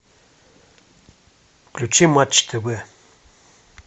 включи матч тв